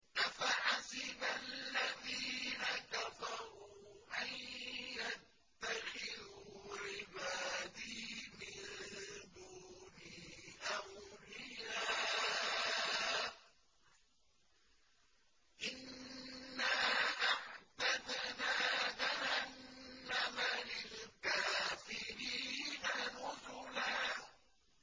أَفَحَسِبَ الَّذِينَ كَفَرُوا أَن يَتَّخِذُوا عِبَادِي مِن دُونِي أَوْلِيَاءَ ۚ إِنَّا أَعْتَدْنَا جَهَنَّمَ لِلْكَافِرِينَ نُزُلًا